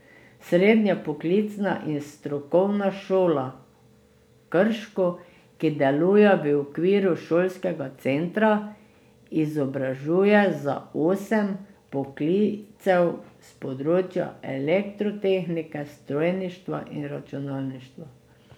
Srednja poklicna in strokovna šola Krško, ki deluje v okviru šolskega centra, izobražuje za osem poklicev s področja elektrotehnike, strojništva in računalništva.